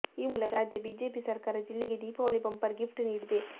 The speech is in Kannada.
ಈ ಮೂಲಕ ರಾಜ್ಯ ಬಿಜೆಪಿ ಸರ್ಕಾರ ಜಿಲ್ಲೆಗೆ ದೀಪಾವಳಿ ಬಂಪರ್ ಗಿಫ್ಟ್ ನೀಡಿದೆ